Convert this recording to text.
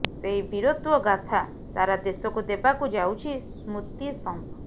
ସେହି ବୀରତ୍ୱ ଗାଥା ସାରା ଦେଶକୁ ଦେବାକୁ ଯାଉଛି ସ୍ମୃତି ସ୍ତମ୍ଭ